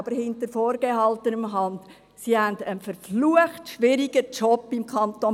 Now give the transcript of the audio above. Aber hinter vorgehaltener Hand erfahren Sie, dass diese im Kanton Bern einen verflucht schwierigen Job haben.